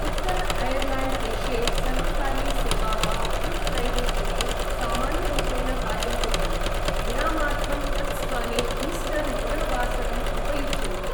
उत्तर ऐर्लैण्ड् देशे सर्वकारीयसेवाः गुड्फ्रैडे दिने सामान्यरूपेण कार्यं कुर्वन्ति, विरामार्थं तत्स्थाने ईस्टर् मङ्गलवासरम् उपयुज्यन्ते।